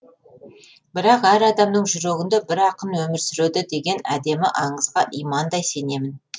бірақ әр адамның жүрегінде бір ақын өмір сүреді деген әдемі аңызға имандай сенемін